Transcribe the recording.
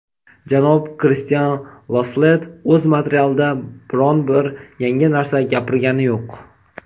Janob Kristian Lasslett o‘z materialida biron bir yangi narsa gapirgani yo‘q.